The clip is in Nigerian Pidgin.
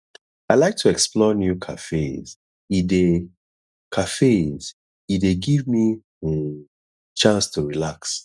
i like to explore new cafes e dey cafes e dey give me um chance to relax